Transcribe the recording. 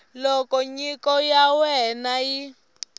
loko nyiko ya wena yi